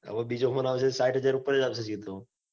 હવે બીજો phone આવશે. સાઈઠ હાજર ઉપર જ સીધો.